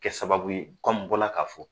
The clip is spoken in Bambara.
Kɛ sababu ye n bɔra k'a fɔ